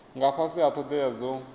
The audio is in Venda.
nga fhasi ha thodea dzo